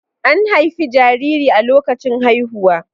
An haifi jariri a lokacin haihuwa.